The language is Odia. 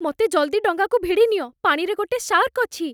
ମତେ ଜଲ୍ଦି ଡଙ୍ଗାକୁ ଭିଡ଼ି ନିଅ, ପାଣିରେ ଗୋଟେ ଶାର୍କ୍ ଅଛି ।